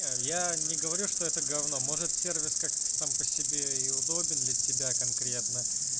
я не говорю что это говно может сервис как сам по себе и удобен для тебя конкретно